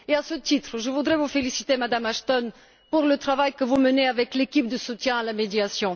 À ce titre, je voudrais vous féliciter, Madame Ashton, pour le travail que vous menez avec l'équipe de soutien à la médiation.